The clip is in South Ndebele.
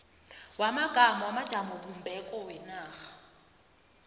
wamagama wamajamobumbeko wenarha